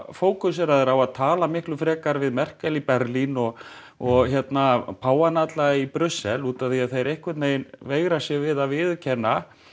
fókuseraðir á að tala miklu frekar við Merkel í Berlín og og og páfana alla í Brussel út af því að þeir einhvern veginn veigra sér við að viðurkenna